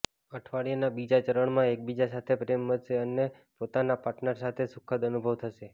અઠવાડિયાના બીજા ચરણમાં એકબીજા સાથે પ્રેમ વધશે અને પોતાના પાર્ટનર સાથે સુખદ અનુભવ થશે